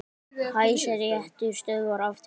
Hæstiréttur stöðvar aftöku